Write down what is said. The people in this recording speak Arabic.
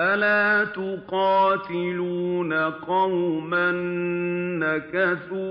أَلَا تُقَاتِلُونَ قَوْمًا نَّكَثُوا